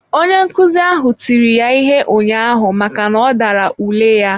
Onye nkuzi ahụ tiri ya ihe ụnyaahụ maka n'ọdara ule ya.